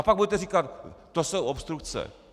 A pak budete říkat: to jsou obstrukce.